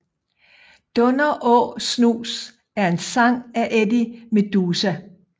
Dunder Å Snus er en sang af Eddie Meduza